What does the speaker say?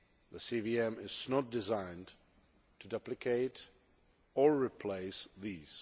The CVM is not designed to duplicate or replace these.